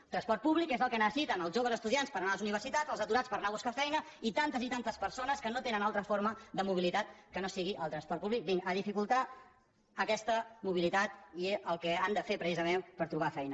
el transport públic que és el que necessiten els joves estudiants per anar a les universitats els aturats per anar a buscar feina i tantes i tantes persones que no tenen altra forma de mobilitat que no sigui el transport públic a dificultar aquesta mobilitat i el que han de fer precisament per trobar feina